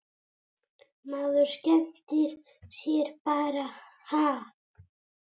Maður skemmtir sér bara ha?